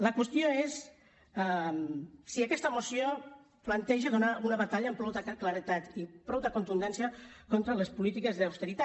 la qüestió és si aquesta moció planteja donar una batalla amb prou claredat i prou contundència contra les polítiques d’austeritat